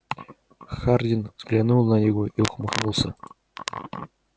хардин взглянул на него и ухмыхнулся